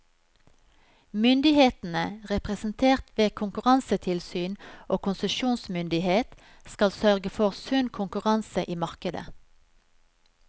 Myndighetene, representert ved konkurransetilsyn og konsesjonsmyndighet, skal sørge for sunn konkurranse i markedet.